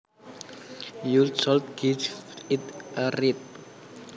You should give it a read